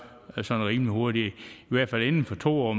rimelig hurtigt i hvert fald inden for to år